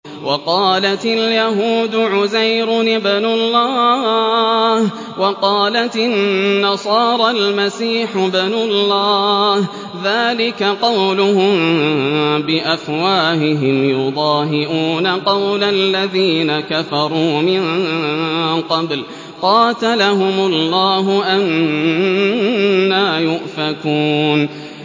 وَقَالَتِ الْيَهُودُ عُزَيْرٌ ابْنُ اللَّهِ وَقَالَتِ النَّصَارَى الْمَسِيحُ ابْنُ اللَّهِ ۖ ذَٰلِكَ قَوْلُهُم بِأَفْوَاهِهِمْ ۖ يُضَاهِئُونَ قَوْلَ الَّذِينَ كَفَرُوا مِن قَبْلُ ۚ قَاتَلَهُمُ اللَّهُ ۚ أَنَّىٰ يُؤْفَكُونَ